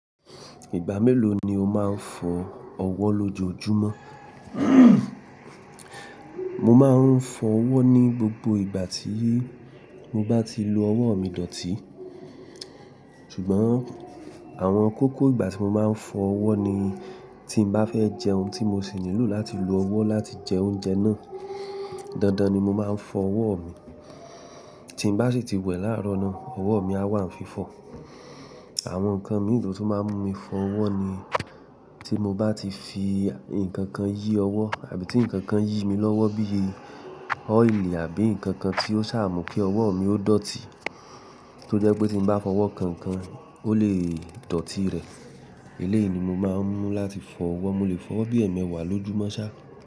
Ìgbà mélòó ni o máa ń fọ ọwọ́ lójoojúmọ́? Mo máa ń fọ ọwọ́ ní gbogbo ìgbà tí mo bá ti lo ọwọ́ mi dọ̀tí. Ṣùgbọ́n àwọn kókó ìgbà tí mo máa ń fọ ọwọ́ ni tí mo bá fẹ́ jẹ ohun tí mo sì nílò láti lo ọwọ́ láti jẹ oúnjẹ náà. Dandan ni mo máa ń fọ ọwọ́ mi. Tí mo bá sì ti wẹ̀ láàárọ̀ náà, ọwọ́ mi á wà ní fífọ̀. Àwọn nǹkan mìíràn tó máa ń mú mi fọ ọwọ́ ni tí mo bá ti fi nǹkan kan yí ọwọ́ àbí tí nǹkan kan yí mi lọ́wọ́ bí i ọ́ìlì àbí nǹkan kan tí ó ṣàmú kí ọwọ́ mi ó dọ̀tí, tó jẹ́ pé tí mo bá fọ ọwọ́ kan kan ó lè dọ̀tí rẹ̀. Eléyìí ni mo máa ń mú láti fọ ọwọ́. Mo lè fọ ọwọ́ bí ẹ̀mẹwàà lójúmọ́ sá.